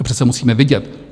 To přece musíme vidět.